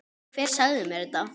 Hver sagði mér þetta?